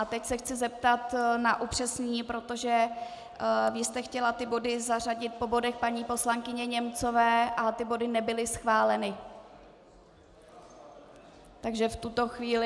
A teď se chci zeptat na upřesnění, protože vy jste chtěla ty body zařadit po bodech paní poslankyně Němcové, ale ty body nebyly schváleny Takže v tuto chvíli...